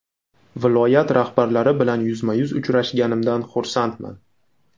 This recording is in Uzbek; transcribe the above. Viloyat rahbarlari bilan yuzma-yuz uchrashganimdan xursandman.